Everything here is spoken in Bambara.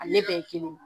Ale bɛɛ ye kelen ye